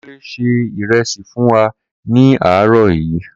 Kunle se ìrẹsì fún wa ní àárọ̀ yí